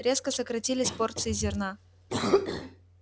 резко сократились порции зерна